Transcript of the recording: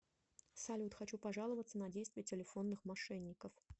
салют хочу пожаловаться на действия телефонных мошенников